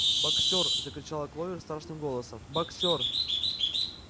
боксёр закричала кловер страшным голосом боксёр